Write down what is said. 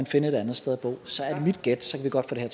finde et andet sted at bo så er mit gæt at vi godt kan